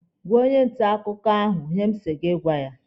Gwaa onye nta akụkọ ahụ ihe m sị gị gwa ya!